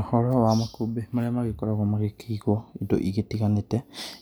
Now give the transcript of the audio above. Ũhoro wa makũmbĩ marĩa magĩkoragwo makĩigwo indo igĩtiganĩte,